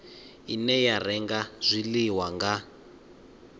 ine ya renga zwiḽiwa nga